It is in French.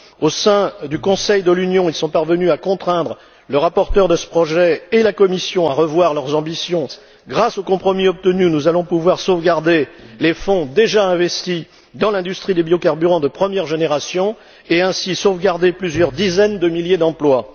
Au sein du Conseil de l'Union, ils sont parvenus à contraindre le rapporteur de ce projet et la Commission à revoir leurs ambitions à la baisse. Grâce au compromis obtenu, nous allons pouvoir sauvegarder les fonds déjà investis dans l'industrie des biocarburants de première génération et ainsi sauvegarder plusieurs dizaines de milliers d'emplois.